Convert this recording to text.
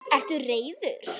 Ertu reiður?